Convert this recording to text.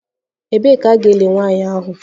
Ebee ka a ga-eli nwanyị ahụ?